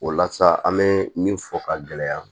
O la sa an mɛ min fɔ ka gɛlɛya